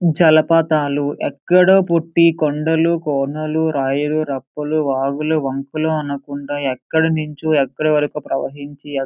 జలపాతాలు ఎక్కడో పుట్టి కొండలు కోనలు రాయలు రప్పలు వాగులు వంకలు అనుకుంటా ఎక్కడి నుంచో ఎక్కడికో ప్రవహించి ఎ --